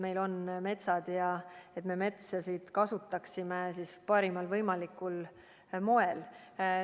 Meil on metsad ja me peame neid kasutama parimal võimalikul moel.